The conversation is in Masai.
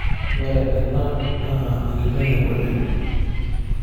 Ore ena naa engiteng ekule.